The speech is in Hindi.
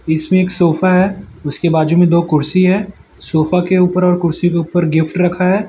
इसमें एक सोफा है उसके बाजू में दो कुर्सी है सोफा के ऊपर और कुर्सी के ऊपर गिफ्ट रखा है।